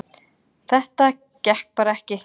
Þetta gekk bara ekki